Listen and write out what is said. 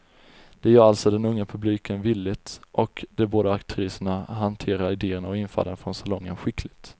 Det gör alltså den unga publiken villigt, och de båda aktriserna hanterar idéerna och infallen från salongen skickligt.